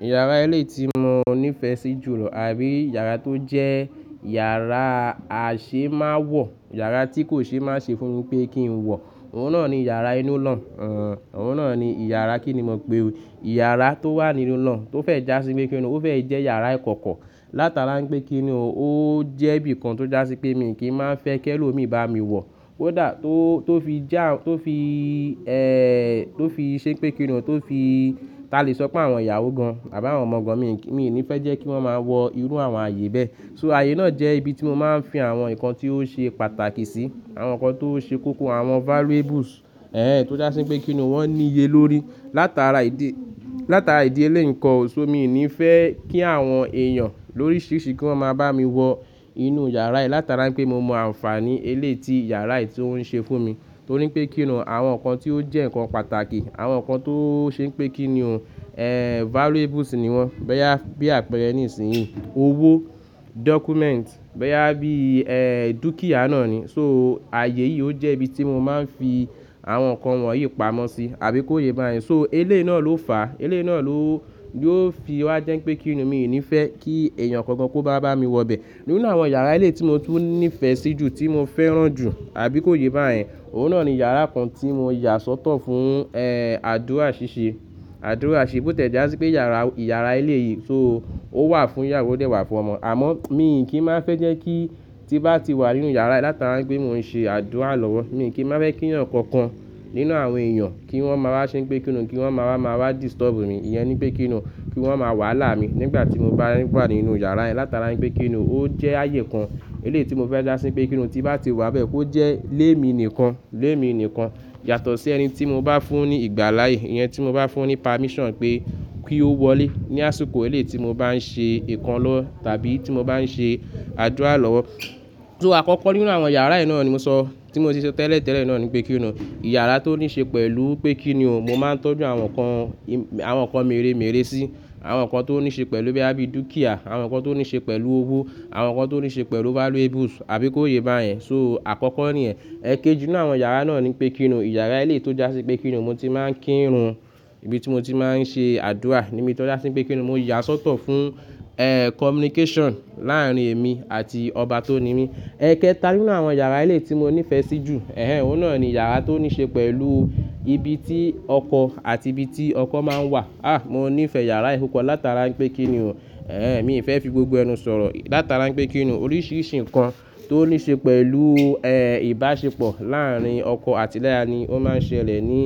Yàrá eléyi tí mo nífẹ̀ẹ́ sí jùlọ àbí yàrá tó jẹ́ yàrá àìṣe má wọ̀, yàrá tí kò ṣe má ṣì fún mi pé kí n wọ̀, òun náà ni yàrá inú lọ́un, òun náà ni yàrá kí ni mo pe o. Yàrá tó wà nínú lọ́un tó fẹ́ já sí pé kí ni, ó fẹ́ jẹ́ yàrá ìkọ̀kọ̀. Látara pé kí ni o, ó jẹ́ ibi kan tó já sí pé mi kì í má nfẹ́ kí ẹlòmíí bá mi wọ̀. Kódà tó, tó fi já, tó fi ẹ, tó fi ṣe pé kí ni, tó fi, ta lè sọ pé àwọn ìyàwó gan an àbí àwọn ọmọ gan an, mi nífẹ̀ẹ́ jẹ́ kí wọ́n máa wọ irú àwọn ààyè bẹ́ẹ̀. So ààyè náà jẹ́ ibi tí mo máa ń fi àwọn nǹkan tí ó ṣe pàtàkì sí, àwọn nǹkan tó ṣe kókó, àwọn valuables, ẹnh ẹnh tó já sí pé kí ni wọ́n níye lórí. Látara ìdí, látara ìdí eléyi nkọ́ o, so mi kì í nífẹ̀ẹ́ kí àwọn èèyàn lóríṣiríṣi kí wọ́n máa bá mi wọ inú yàrá yi látara pé mo mọ àǹfààní eléyi tí yàrá yìí tó ń ṣe fún mi. Torí pé kí ni, àwọn nǹkan tí ó jẹ́ nǹkan pàtàkì, àwọn nǹkan tó ṣe pé kí ni o, ẹnh valuables ni wọ́n bóyá. Bí àpẹẹrẹ ní ìsìnyí owó, documents, bóyá bí ẹ, dúkìá náà ni. So ààyè yìí ó jẹ́ ibi tí mo máa ń fi àwọn nǹkan wọ̀nyí pamọ́ sí àbí kó ye bá yẹn. So eléyi náà ló fà á, eléyi náà ló, yió fi wá jẹ́ pé kí ni mi ní fẹ̀ẹ́ kí èèyàn kankan kó bá bá mi wọ bẹ́ẹ̀. Nínú àwọn yàrá ilé tí mo tú nífẹ̀ẹ́ sí jù, tí mo fẹ́ràn jù àbí kó ye bá yẹn, òun náà ni yàrá kan tí mo yà sọ́tọ̀ fún ẹ́ àdúrà ṣíṣe, àdúrà ṣe. Bó tiẹ́ já sí pé yàrá, yàrá ilé yìí, so ó wà fún ìyàwó dẹ̀ wà fún ọmọ. Àmọ́ mi kì í má fẹ́ jẹ́ kí tí bá ti wà nínú yàrá yi látara pé mo ń ṣe àdúrà lọ́wọ́, mi kì í má fẹ́ kí ẹ̀yàn kankan nínú àwọn èèyàn kí wọ́n máa wá ṣe pé kí ni, kí wọ́n máa wá, máa wá disturb mi. Iyẹn ní pé kí ni, kí wọ́n máa wàhálà mi nígbà tí mo bá wà nínú yàrá yẹ́n látara pé kí ni ó jẹ́ ààyè kan eléyi tí mo fẹ́ já sí pé kí ni tí bá ti mo bati wàn bẹ́ẹ̀ kó jẹ́ lé mi nìkan, lé mi nìkan. Yàtọ̀ sí ẹni tí mo bá fún ní ìgbà láàyè, ìyẹn tí mo bá fún ní permission pé, kí ó wọlé ní àsìkò eléyi tí mo bá ń ṣe nǹkan lọ́wọ́ tàbí tí mo bá ń ṣe àdúrà lọ́wọ́. So àkọ́kọ́ nínú àwọn yàrá ẹ́ náà ni mo sọ, tí mo ti sọ tẹ́lẹ̀ tẹ́lẹ̀ náà ni pé kí ni o. Yàrá tó ní ṣe pẹ̀lú pé kí ni o, mo máa ń tọ́jú àwọn nǹkan, àwọn nǹkan mèremère sí. Àwọn nǹkan tó ní ṣe pẹ̀lú bí àbí dúkìá, àwọn nǹkan tó ní ṣe pẹ̀lú owó, àwọn nǹkan tó ní ṣe pẹ̀lú valuables àbí kó ye bá yẹn. So àkọ́kọ́ ní ẹ̀. Ẹ̀kéjì nínú àwọn yàrá náà ni pé kí ni o, yàrá ilé tó já sí pé kí ni mo ti máa ń kírun, ibi tí mo ti máa ń ṣe àdúrà ni mí tọ́já sí pé kí ni mo yà sọ́tọ̀ fún ẹ́ communication láàárín èmi àti ọba tó ni mí. Ẹ̀kẹta nínú àwọn yàrá ilé tí mo nífẹ̀ẹ́ sí jù, ẹnh ẹnh òun náà ni yàrá tó ní ṣe pẹ̀lú ibi tí ọkọ àti ibi tí ọkọ máa ń wà. Ha mó nífẹ̀ẹ́ yàrá pupọ́ látara pé kí ni o, ẹnh ẹnh mií fẹ́ fi gbogbo ẹnu sọ̀rọ̀ látara pé kí ni o. Oríṣiríṣi nǹkan tó ní ṣe pẹ̀lú ẹ́ ìbáṣepọ̀ láàárín ọkọ àti ìyá ni ó máa ń ṣẹlẹ̀ ní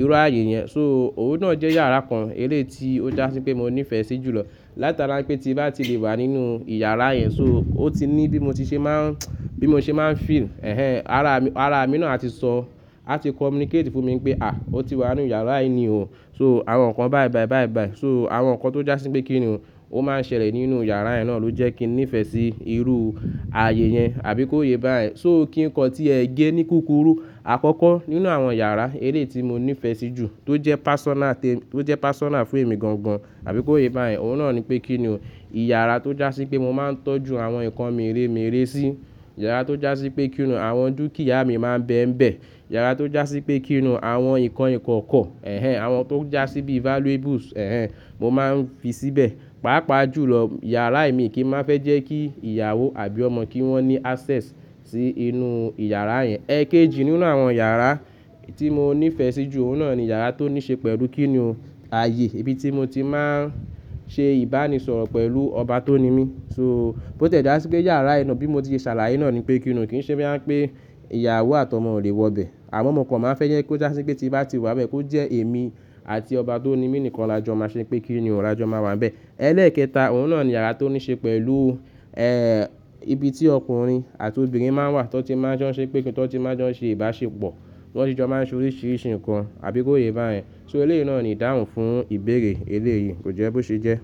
irú ààyè yẹn. So òun náà jẹ́ yàrá kan eléè tí ó já sí pé mo nífẹ̀ẹ́ sí jùlọ látara pé tí bá ti lè wà nínú ìyàrá yẹn, so ó ti ní bí mo ti ṣe máa ń, bí mo ṣe máa ń feel, ẹnh ẹnh ara, ara mi náà àti sọ, á ti communicate fún mi pé "hà ó ti wà nínú yàrá yi ní o". So àwọn nǹkan báyi báyi báyi báyi. So àwọn nǹkan tó já sí pé kí ni o, ó máa ń ṣẹlẹ̀ nínú yàrá ẹ́ náà ló jẹ́ kí n nífẹ̀ẹ́ sí irú ààyè yẹn àbí kó ye bá yẹn. So kí nǹkan tí ẹ gẹ́ ní kúkúrú, àkọ́kọ́ nínú àwọn yàrá eléè tí mo nífẹ̀ẹ́ sí jù tó jẹ́ personal ti, tó jẹ́ personal fún èmi gan gan àbí kó ye bá yẹn, òun náà ni pé kí ni o. Yàrá tó já sí pé mo máa ń tọ́jú àwọn nǹkan mèremère sí, yàrá tó já sí pé kí ni àwọn dúkìá mi máa ń bẹ́ ń bẹ́, yàrá tó já sí pé kí ni àwọn nǹkan ìkọ̀kọ̀, ẹnh ẹnh àwọn tó já sí bí valuables, ẹnh ẹnh mo máa ń fi síbẹ̀. Pápa jùlọ yàrá yi mi kì í má nfẹ́ jẹ́ kí ìyàwó àbí ọmọ kí wọ́n ní access sí inú ìyàrá yẹn. Ẹ̀kéjì nínú àwọn yàrá tí mo nífẹ̀ẹ́ sí jù, òun náà ni yàrá tó ní ṣe pẹ̀lú kí ni o, ààyè ibi tí mo ti máa ń ṣe ìbánisọ̀rọ̀ pẹ̀lú ọba tó ni mí. So bó tiẹ́ já sí pé yàrá yi náà bí mo ti ṣe ṣàlàyé náà ni pé kí ni o, kì í ṣe bóyá ń pé ìyàwó àti ọmọ ò lè wọ bẹ́ẹ̀. Amon mo kan máa nfẹ́ jẹ́ kó já sí pé tí bá ti wà bẹ́ẹ̀ kó jẹ́ èmi àti ọba tó ni mí nìkan lajọ́ má ṣe pé kí ni o lajọ́ má wà n'bẹ́ẹ̀. Ẹlẹ́ẹ̀kẹta òun náà ni yàrá tó ní ṣe pẹ̀lú ẹ́ ibi tí ọkùnrin àti obìnrin máa ń wà tó ti máa ń jọ́ ṣe pé kíni, tó ti máa ń jọ ṣe ìbáṣepọ̀, tó ti jọ máa ń ṣe oríṣiríṣi nǹkan àbí kó ye bá yẹn. So eléyi náà ni ìdáhùn fún ìbéèrè elé yìí, kò jẹ́ bó ṣe jẹ́.